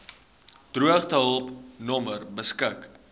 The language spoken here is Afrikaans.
droogtehulp nommer beskik